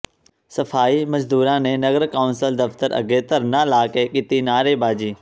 ਸਫ਼ਾਈ ਮਜ਼ਦੂਰਾਂ ਨੇ ਨਗਰ ਕੌਂਸਲ ਦਫ਼ਤਰ ਅੱਗੇ ਧਰਨਾ ਲਾ ਕੇ ਕੀਤੀ ਨਾਅਰੇਬਾਜ਼ੀ